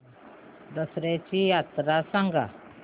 दसर्याची यात्रा सांगा